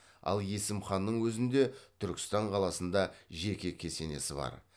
ал есім ханның өзінде түркістан қаласында жеке кесенесі бар